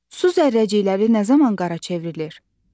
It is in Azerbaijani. Su zərrəcikləri nə zaman qara çevrilir?